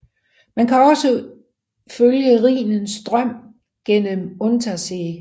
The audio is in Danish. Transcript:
Man kan også følge Rhinens strøm gennem Untersee